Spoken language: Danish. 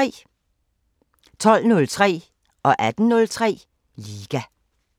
12:03: Liga 18:03: Liga